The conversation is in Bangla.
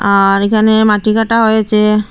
আর এখানে মাটি কাটা হয়েছে।